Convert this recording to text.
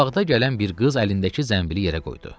Qabaqda gələn bir qız əlindəki zənbili yerə qoydu.